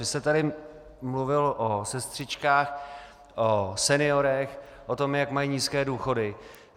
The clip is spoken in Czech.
Vy jste tady mluvil o sestřičkách, o seniorech, o tom, jak mají nízké důchody.